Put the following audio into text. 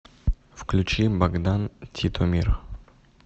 включи богдан титомир